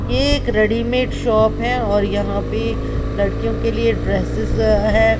यह एक readymade shop है और यहां पे लड़कियों के लिए ड्रेसेस है।